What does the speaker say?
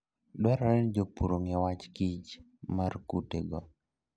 Dwarore ni jopur ong'e wach kich mar kutego.